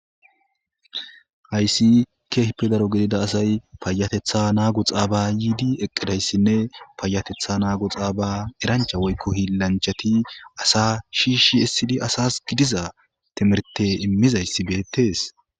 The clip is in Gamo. hayssi keehipe daro gidida asay payatetha naagu xaaba yiidi eqqidayssinne paayatetha naagu xaaba erancha woykko hilanchati asa shiishshi essidi asas gidiza timirte immizayssi beettees